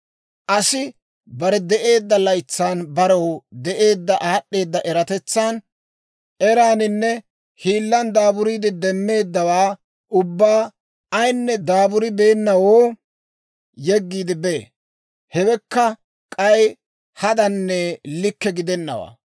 Asi bare de'eedda laytsan barew de'eedda aad'd'eeda eratetsan, eraaninne hiillan daaburiide demmeeddawaa ubbaa ayinne daaburibeennawoo yeggiide bee. Hewekka k'ay, hadanne likke gidennawaa.